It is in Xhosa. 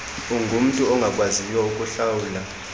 ungumntu ongakwaziyo ukuhlawula